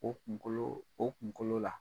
O kunkolo o kunkolo la .